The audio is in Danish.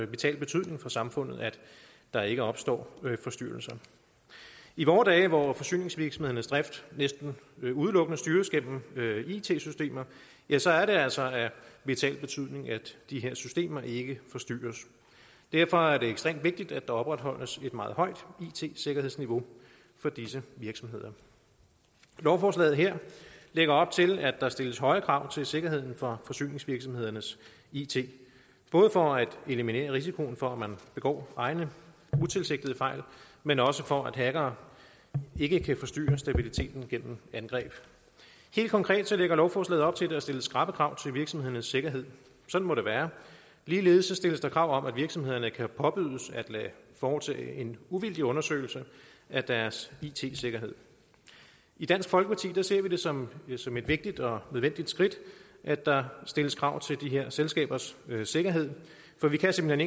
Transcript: vital betydning for samfundet at der ikke opstår forstyrrelser i vore dage hvor forsyningsvirksomhedernes drift næsten udelukkende styres gennem it systemer ja så er det altså af vital betydning at de her systemer ikke forstyrres derfor er det ekstremt vigtigt at der opretholdes et meget højt it sikkerhedsniveau for disse virksomheder lovforslaget her lægger op til at der stilles høje krav til sikkerheden for forsyningsvirksomhedernes it både for at eliminere risikoen for at man begår egne utilsigtede fejl men også for at hackere ikke kan forstyrre stabiliteten gennem angreb helt konkret lægger lovforslaget op til at der stilles skrappe krav til virksomhedernes sikkerhed sådan må det være ligeledes stilles der krav om at virksomhederne kan påbydes at lade foretage en uvildig undersøgelse af deres it sikkerhed i dansk folkeparti ser vi det som som et vigtigt og nødvendigt skridt at der stilles krav til de her selskabers sikkerhed for vi kan simpelt